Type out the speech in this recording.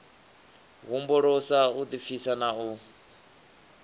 humbulisa u ḓipfisa na u